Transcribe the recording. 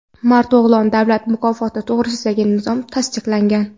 "Mard o‘g‘lon" davlat mukofoti to‘g‘risidagi nizom tasdiqlangan.